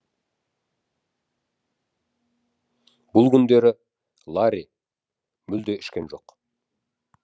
бұл күндері ларри мүлде ішкен жоқ